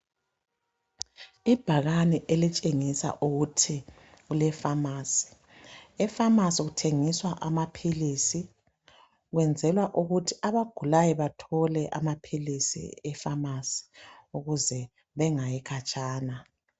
Ibhakani elitshengisa ukuthi kulefamasi. Efamasi kuthengiswa amaphilisi . Kwenzelwa ukuthi abagulayo bathole amaphilisi efamasi ukuze bengayi khatshana.